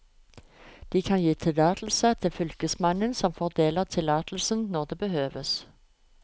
De kan gi tillatelse til fylkesmannen, som fordeler tillatelsen når det behøves.